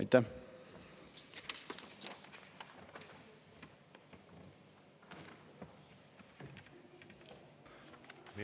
Aitäh!